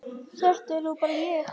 Þetta er nú bara ég!